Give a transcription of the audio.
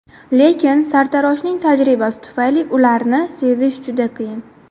Lekin sartaroshning tajribasi tufayli ularni sezish juda qiyin.